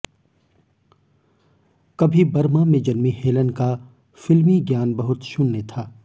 कभी बर्मा में जन्मी हेलन का फिल्मी ज्ञान बहुत शून्य था